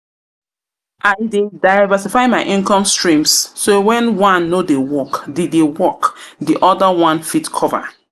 I dey diversify my income streams, so when one no dey work, di other one fit cover.